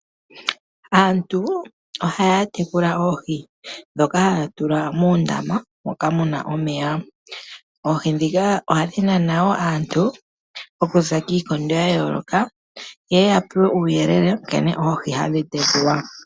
Aantu ohaya tekula oohi ndhoka haya tula moondama moka muna omeya. Oohi ndhoka ohadhi nana aantu okuza kiikondo yayooloka yeye ya pewe uuyelele nkene oohi hadhi tekulwa.